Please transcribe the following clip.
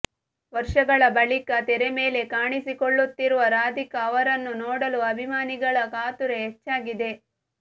ವರ್ಷಗಳ ಬಳಿಕ ತೆರೆಮೇಲೆ ಕಾಣಿಸಿಕೊಳ್ಳುತ್ತಿರುವ ರಾಧಿಕಾ ಅವರನ್ನು ನೋಡಲು ಅಭಿಮಾನಿಗಳ ಕಾತುರ ಹೆಚ್ಚಾಗಿದೆ